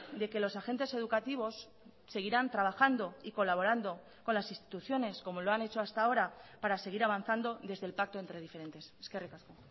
de que los agentes educativos seguirán trabajando y colaborando con las instituciones como lo han hecho hasta ahora para seguir avanzando desde el pacto entre diferentes eskerrik asko